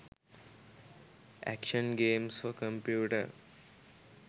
action games for computer